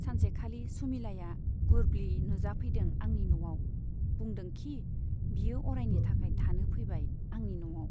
सानसेखालि सुमिलाया गुरब्लि नुजाफैदों आंनि न'आव बुंदोंखि, बियो अरायनि थाखाय थानो फैबाय आंनि न'आव।